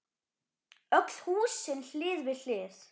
Öll húsin hlið við hlið.